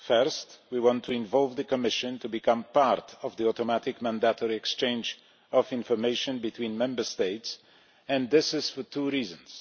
First, we want to involve the Commission to become part of the automatic mandatory exchange of information between Member States and this is for two reasons.